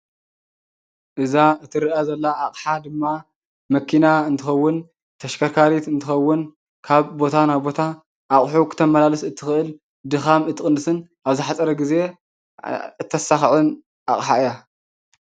እዛ እትረአ ዘላ ኣቕሓ ድማ መኪና እንትኸውን ተሽከርካሪት እንትኸውን ካብ ቦታ ናብ ቦታ ኣቑሑ ክተማላልስ እትክእል ድኻም እትቅንስን ኣብ ዝሓፀረ ግዜ እተሳክዕን ኣቕሓ እያ።